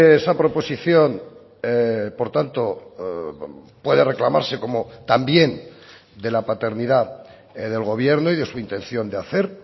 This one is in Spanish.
esa proposición por tanto puede reclamarse como también de la paternidad del gobierno y de su intención de hacer